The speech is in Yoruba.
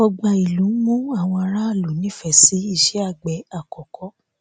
ọgbà ìlú ń mú àwọn aráàlú nífèé sí iṣé àgbè àkókò